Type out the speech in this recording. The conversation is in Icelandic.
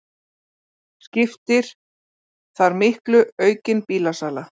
Skiptir þar miklu aukin bílasala